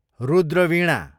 Rudra Veena